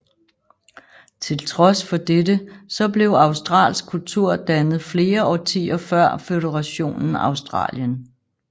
Tiltrods for dette så blev australsk kultur dannet flere årtier før Føderationen Australien